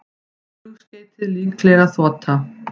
Flugskeytið líklega þota